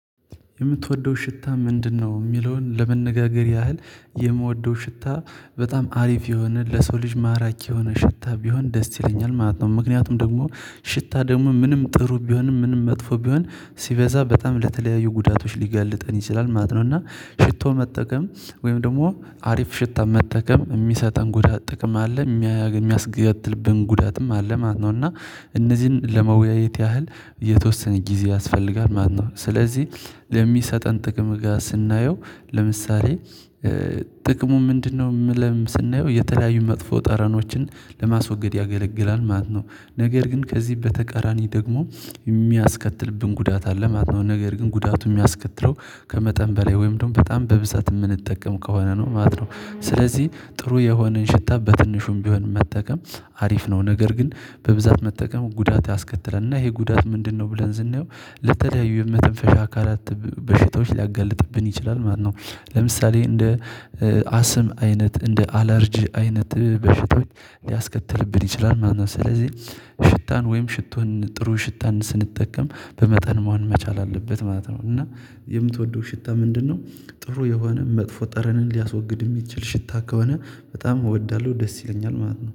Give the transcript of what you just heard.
የምትወደው ሽታ ምንድነው? የሚለውን ለመነጋገር ያህል የምወደው ሽታ በጣም አሪፍ የሆነ ለሰው ልጅ ማራኪ የሆነ ሽታ ቢሆን ደስ ይለኛል ማለት ነው። ምክንያቱም ደግሞ ሽታ ደግሞ ምንም ጥሩ ቢሆንም ምንም መጥፎ ቢሆን ሲበዛ በጣም ለተለያዩ ጉዳቶች ሊገልጠን ይችላል ማለት ነው። እና ሽቶ መጠቀም ወይም ደግሞ አሪፍ ሽታ መጠቀም የሚሰጠን ጉዳት ጥቅም አለ። የሚያስከትልብን ጉዳትም አለ ማነው። እና እነዚህን ለመወያየት ያህል የተወሰነ ጊዜ ያስፈልጋል ማለት ነው። ስለዚህ ለሚሰጠን ጥቅም ጋር ስናየው ለምሳሌ ጥቅሙ ምንድነው የሚለውን ስናየው የተለያዩ መጥፎ ጠረኖችን ለማስወገድ ያገለግላል ማለት ነው። ነገር ግን ከዚህ በተቃራኒ ደግሞ የሚያስከትልብን ጉዳት አለ ማለት ነው። ነገር ግን ጉዳቱ የሚያስከትለው ከመጠን በላይ ወይም ደግሞ በጣም በብዛት የምንጠቀም ከሆነ ነው ማለት ነው። ስለዚህ ጥሩ የሆነን ሽታ በትንሹም ቢሆን መጠቀም አሪፍ ነው። ነገር ግን በብዛት መጠቀም ጉዳት ያስከትለናል እና ይሄ ጉዳት ምንድነው ብለን ስናየው ለተለያዩ የመተንፈሻ አካላት በሽታዎች ሊያጋልጥብን ይችላል ማለት ነው። ለምሳሌ እንደ አስም አይነት፣ እንደ አለርጅ አይነት በሽቶች ሊያስከትልብን ይችላል ማለት ነው። ስለዚህ ሽታን ወይም ሽቶን ጥሩ ሽታን ስንጠቀም በመጠን መሆን መቻል አለበት ማለት ነው። እና የምትወደው ሽታ ምንድነው? ጥሩ የሆነ መጥፎ ጠረንን ሊያስወግድ የሚችል ሽታ ከሆነ በጣም እወዳለሁ። ደስ ይለኛል ማለት ነው።